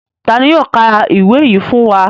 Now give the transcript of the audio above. Ta ni yóò ka ìwé yìí fún wa?